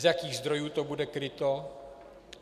Z jakých zdrojů to bude kryto?